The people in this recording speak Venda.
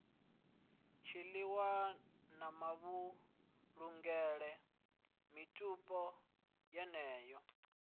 tshiilwa na mavhulungele mitupo yeneyo